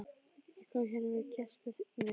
Ég kom hérna með gest með mér.